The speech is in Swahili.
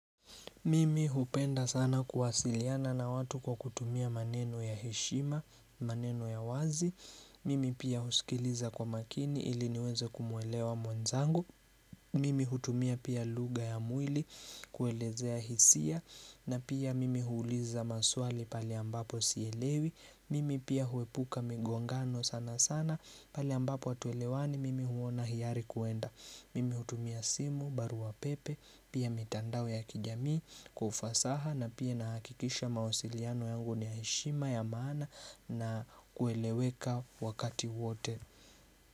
Mimi hupenda sana kuwasiliana na watu kwa kutumia maneno ya heshima, maneno ya wazi. Mimi pia husikiliza kwa makini ili niweze kumuelewa mwenzangu. Mimi hutumia pia lugha ya mwili kuelezea hisia na pia mimi huuliza maswali pahali ambapo sielewi. Mimi pia huepuka migongano sana sana pahali ambapo hatuelewani mimi huona hiari kuenda. Mimi hutumia simu baru pepe pia mitandao ya kijamii kwa ufasaha na pia nakikisha mawasiliano yangu ni heshima ya maana na kueleweka wakati wote.